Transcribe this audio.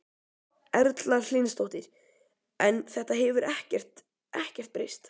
Erla Hlynsdóttir: En þetta hefur ekkert, ekkert breyst?